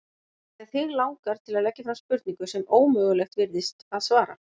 Af því að þig langar til að leggja fram spurningu sem ómögulegt virðist að svara.